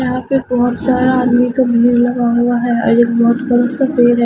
यहां पे बहोत सारा आदमी का भीड़ लगा हुआ है और एक बहोत बड़ा पेड़--